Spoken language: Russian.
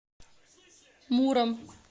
муром